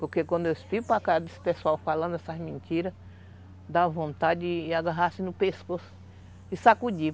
Porque quando eu fico casa desse pessoal falando essas mentiras, dá vontade de agarrar-se no pescoço e sacudir.